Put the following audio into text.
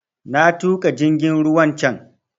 Na tuƙa jingin ruwan can